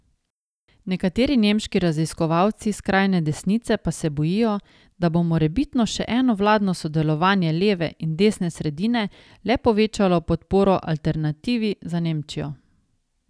Nekateri nemški raziskovalci skrajne desnice pa se bojijo, da bo morebitno še eno vladno sodelovanje leve in desne sredine le povečalo podporo Alternativi za Nemčijo.